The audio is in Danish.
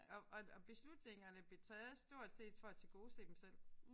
Og og og beslutningerne blev taget stort set for at tilgodese dem selv